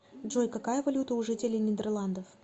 джой какая валюта у жителей нидерландов